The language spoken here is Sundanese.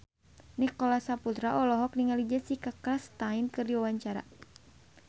Nicholas Saputra olohok ningali Jessica Chastain keur diwawancara